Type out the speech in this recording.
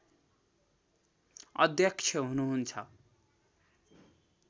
अध्यक्ष हुनुहुन्छ